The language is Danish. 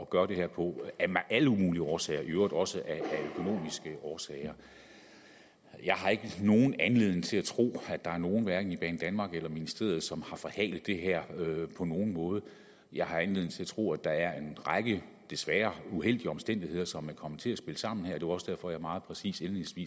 gøre det her på af alle mulige årsager i øvrigt også af økonomiske årsager jeg har ikke nogen anledning til at tro at der er nogen hverken i banedanmark eller ministeriet som har forhalet det her på nogen måde jeg har anledning til at tro at der er en række desværre uheldige omstændigheder som er kommet til at spille sammen her det var også derfor jeg meget præcist